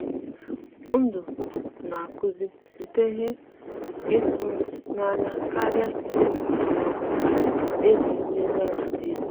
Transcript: ndụ na-akụzi site na ihe ịtụnanya karịa site na usoro ọ bụla ejiri nlezianya dezie.